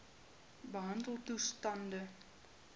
behandeltoestande